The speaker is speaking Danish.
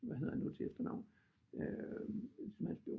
Hvad hedder han nu til efternavn øh